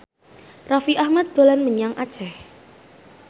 Raffi Ahmad dolan menyang Aceh